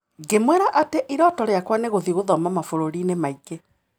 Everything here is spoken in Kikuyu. Ngĩmwĩra atĩ iroto rĩakwa nĩ gũthiĩ gũthoma mabũrũri-inĩ mangĩ